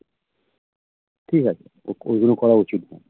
ঠিক আছে ওগুলো করা উচিত না